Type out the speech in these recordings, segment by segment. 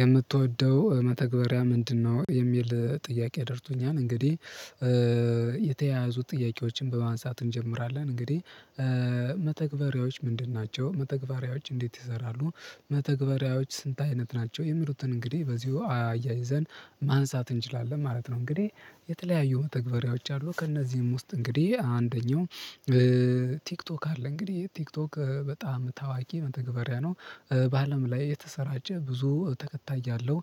የምትወደው መተግበሪያ ምንድነው የሚል ጥያቄ ደርሶኛል እንግዲህ የተያያዙ ጥያቄዎችን በማንሳት እንጀምራለን። እንግዲህ መተግበሪያዎች ምንድን ናቸው መተግበሪያዎች እንዴት ይሰራሉ? መተግበሪያዎች ስንት አይነት ናቸው? የሚሉትን እንግዲህ በዚሁ አያይዘን ማንሳት እንችላለን ማለት ነው፤ እንግዲህ የተለያዩ ተግባሪዎች አሉ ከእነዚህም ውስጥ እንግዲህ አንደኛው ቲክቶክ አለ እንግዲህ ቲክቶክ በጣም ታዋቂ መተግበሪያ ነው፤ በአለም ላይ የተሰራጨ ብዙ ተከታይ ያለው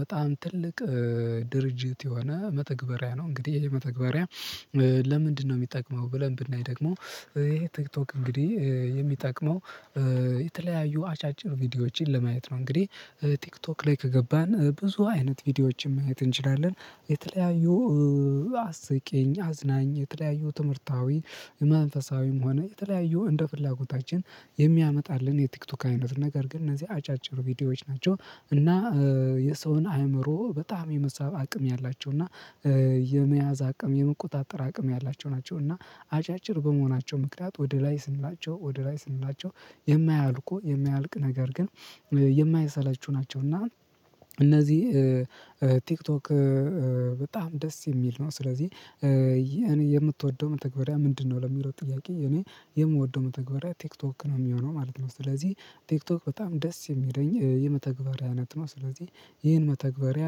በጣም ትልቅ ድርጅት የሆነ መተግበሪያ ነው። እንግዲህ ይህ መተግበሪያ ለምንድነው የሚጠቅመው ብለን ብናይ ደግሞ ይሄ ቲክቶክ እንግዲህ የሚጠቅመው የተለያዩ አጫጭር ቪዲዮዎችን ለማየት ነው። እንግዲህ ቲክቶክ ላይ ከገባን ብዙ አይነት ቪዲዮዎችን ማየት እንችላለን፤ የተለያዩ አስቄኝ አዝናኝ የተለያዩ ትምህርታዊ መንፈሳዊም ሆነ የተለያዩ እንደ ፍላጎታችን የሚያመጣልን የቲክቶክ አይነት ነገር ግን እነዚህ አጫጭር ቪዲዮዎች ናቸው። እና የሰውን አእምሮ በጣም የመሳብ አቅም ያላቸው እና የመያዝ አቅም የመቆጣጠር አቅም ያላቸው ናቸው። እና አጫጭር በመሆናቸው ምክንያት ወደ ላይ ስንላቸው ወደ ላይ ስንላቸው የማያልቁ የማያልቅ ነገር ግን የማይሰቹ ናቸው። እና እነዚህ ቲክቶክ በጣም ደስ የሚል ነው። ስለዚህ እኔ የምትወደው መተግበሪያ ምንድነው? ለሚሮጥ ጥያቄ እኔ የምወደው መተግበሪያ ቲክቶክ ነው የሚሆነው ማለት ነው። ስለዚህ ቲክቶክ በጣም ደስ የሚለኝ የመተግበሪያ አይነት ነው። ስለዚህ ይህን መተግበሪያ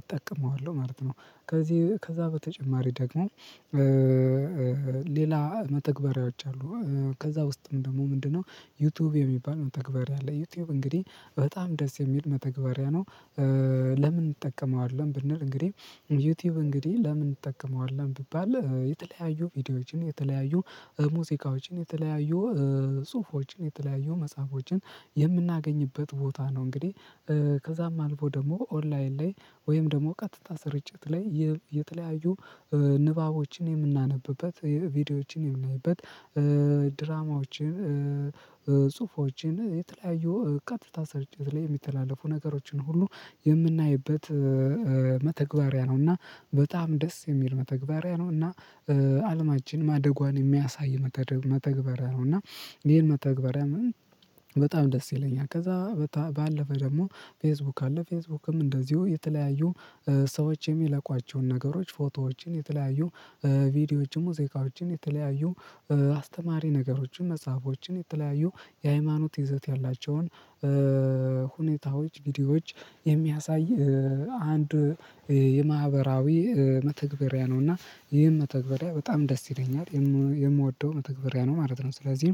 እጠቀመዋለሁ ማለት ነው። ከዚህ ከዛ በተጨማሪ ደግሞ ሌላ መተግበሪያዎቸ አሉ ከዛ ውስጥም ደግሞ ምንድነው ዩቲዩብ የሚባል መተግበሪያ አለ ዩቲዩብ እንግዲህ በጣም ደስ የሚል መተግበሪያ ነው፤ ለምን እንጠቀመዋለን ብንል እንግዲህ ዩቲዩብ እንግዲህ ለምን እንጠቀመዋለን ብባል የተለያዩ ቪዲዮዎችን፤ የተለያዩ ሙዚቃዎችን፤ የተለያዩ ጽሁፎችን፤ የተለያዩ መጽሐፎችን የምናገኝበት ቦታ ነው። እንግዲህ ከዛም አልፎ ደግሞ ኦንላይን ላይ ወይም ደግሞ ቀጥታ ስርጭት ላይ የተለያዩ ንባቦችን የምናነብበት ቪዲዮዎችን የምናይበት ድራማዎችን ጽሁፎችን የተለያዩ ቀጥታ ስርጭት ላይ የሚተላለፉ ነገሮችን ሁሉ የምናይበት መተግባሪያ ነው። እና በጣም ደስ የሚል መተግበሪያ ነው። እና አለማችን ማደጓን የሚያሳይ መተግበሪያ ነው። እና ይሄን መተግበር በጣም ደስ ይለኛል። ከዛ ባለፈ ደግሞ ፌስቡክ አለ፤ ፌስቡክም እንደዚሁ የተለያዩ ሰዎች የሚለቋቸውን ነገሮች ፎቶዎችን የተለያዩ ቪዲዮዎችን ሙዚቃዎችን የተለያዩ አስተማሪ ነገሮችን መጽሐፎችን የተለያዩ የሃይማኖት ይዘት ያላቸውን ሁኔታዎች ቪዲዮዎች የሚያሳይ አንድ የማህበራዊ መተግበሪያ ነው። እና ይህን መተግበሪያ በጣም ደስ ይለኛል፤ የምወደው መተግበሪያ ነው ማለት ነው። ስለዚህ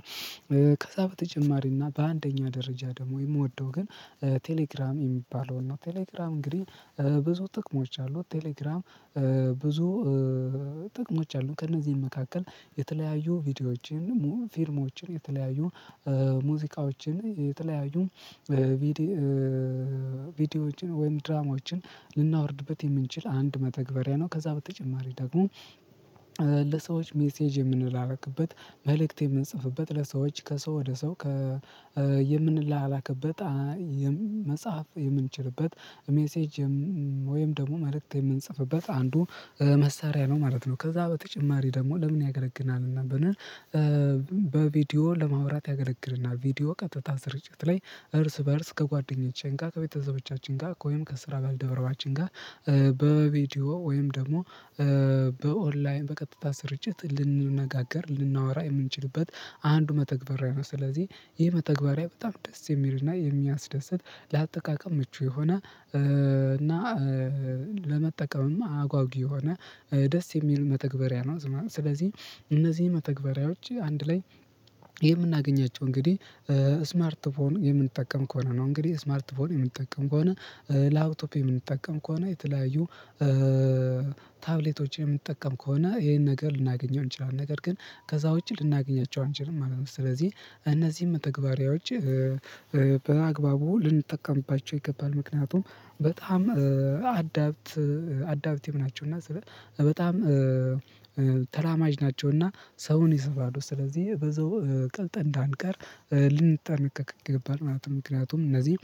ከዛ በተጨማሪ እና በአንደኛ ደረጃ ደግሞ የምወደው ግን ቴሌግራም የሚባለውን ነው ቴሌግራም እንግዲህ ብዙ ጥቅሞች አሉ፤ ቴሌግራም ብዙ ጥቅሞች አሉ ከእነዚህም መካከል የተለያዩ ቪዲዮዎችን፤ ፊልሞችን የተለያዩ ሙዚቃዎችን የተለያዩ ቪዲዮዎችን ወይም ድራማዎችን ልናወርድበት የምንችል አንድ መተግበሪያ ነው። ከዛ በተጨማሪ ደግሞ ለሰዎች ሜሴጅ የምንላላክበት መልእክት የምንጽፍበት ለሰዎች ከሰው ወደ ሰው የምንላክበት መጽሐፍ የምንችልበት ሜሴጅ ወይም ደግሞ መልእክት የምንጽፍበት አንዱ መሳሪያ ነው ማለት ነው። ከዛ በተጨማሪ ደግሞ ለምን ያገለግለናል ብንል በቪዲዮ ለማውራት ያገለግለናል ቪዲዮ ቀጥታ ስርጭት ላይ እርስ በእርስ ከጓደኞቼ ጋር ከቤተሰቦቻችን ጋር ወይም ከስራ ባልደረባችን ጋር በቪዲዮ ወይም ደግሞ በኦንላይን በቀጥታ ስርጭት ልንነጋገር ልናወራ የምንችልበት አንዱ መተግበሪያ ነው። ስለዚህ ይህ መተግበሪያ በጣም ደስ የሚል እና የሚያስደስት ለአጠቃቀም ምቹ የሆነ እና ለመጠቀምም አጓጊ የሆነ ደስ የሚል መተግበሪያ ነው። ስለዚህ እነዚህ መተግበሪያዎች አንድ ላይ የምናገኛቸው እንግዲህ ስማርት ፎን የምንጠቀም ከሆነ ነው። እንግዲህ ስማርት ፎን የምንጠቀም ከሆነ ላብቶፕ የምንጠቀም ከሆነ የተለያዩ ታብሌቶችን የምንጠቀም ከሆነ ይሄን ነገር ልናገኘው እንችላለን ነገር ግን ከዛ ውጪ ልናገኛቸው አንችልም ማለት ነው። ስለዚህ እነዚህን መተግባሪያዎች በአግባቡ ልንጠቀምባቸው ይገባል። ምክንያቱም በጣም አዳብት አዳብቲቭ ናቸውና ስለ በጣም ተላማጅ ናቸውና ሰውን ይስባሉ ስለዚህ በዛው ቀልጠን እንዳንቀር ልንጠነቀቅ ይገባል ማለት ነው፤ ምክንያቱም እነዚህ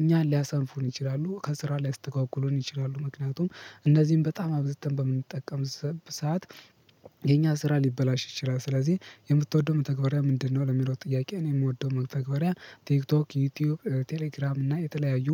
እኛን ሊያሰንፉን ይችላሉ፤ ከስራ ላይ ሊያስተጓጉሉን ይችላሉ። ምክንያቱም እነዚህን በጣም አብዝተን በምንጠቀም ሰዓት የኛ ስራ ሊበላሽ ይችላል። ስለዚህ የምትወደው መተግበሪያ ምንድነው ለሚለው ጥያቄ ነው የምወደው መተግበሪያ ቲክቶክ፣ ዩቲዩብ፣ ቴሌግራም እና የተለያዩ